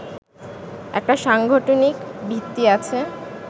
একটা সাংগঠনিক ভিত্তি আছে